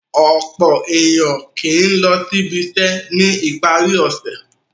Ọ̀pọ̀ ènìyàn kì í lọ ibiṣẹ́ ní ìparí ọ̀sẹ̀.